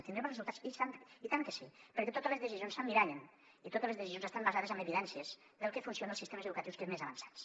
en tindrem els resultats i tant que sí perquè totes les decisions s’emmirallen i totes les decisions estan basades en evidències del que funciona als sistemes educatius més avançats